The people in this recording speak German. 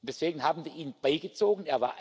Deswegen haben wir ihn beigezogen.